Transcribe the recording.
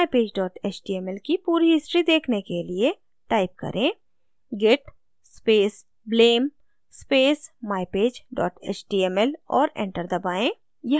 mypage html की पूरी history देखने के लिए type करें: git space blame space mypage html और enter दबाएँ